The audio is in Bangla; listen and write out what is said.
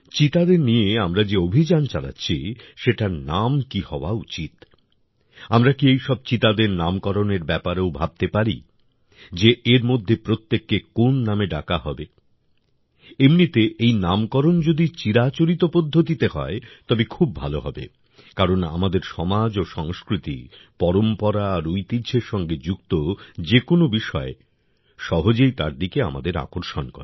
চিতাদের নিয়ে আমরা যে অভিযান চালাচ্ছি সেটার নাম কী হওয়া উচিত আমরা কি এই সব চিতাদের নামকরণের ব্যাপারেও ভাবতে পারি যে এর মধ্যে প্রত্যেককে কোন নামে ডাকা হবে এমনিতে এই নামকরণ যদি চিরাচরিত পদ্ধতিতে হয় তবে খুব ভালো হবে কারণ আমাদের সমাজ ও সংস্কৃতি পরম্পরা আর ঐতিহ্যের সঙ্গে যুক্ত যে কোনও বিষয় সহজেই তার দিকে আমাদের আকর্ষণ করে